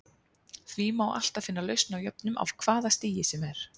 Því má alltaf finna lausn á jöfnum af hvaða stigi sem er.